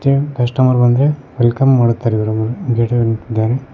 ಮತ್ತೆ ಕಸ್ಟಮರ್ ಬಂದ್ರೆ ವೆಲ್ಕಮ್ ಮಾಡುತ್ತಾರೆ ಇವ್ರು ಗೇಟ್ ನಲ್ಲಿ ನಿಂತಿದ್ದಾರೆ.